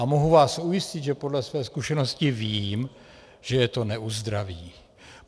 A mohu vás ujistit, že podle své zkušenosti vím, že je to neuzdraví.